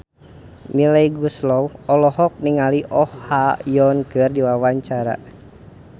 Melly Goeslaw olohok ningali Oh Ha Young keur diwawancara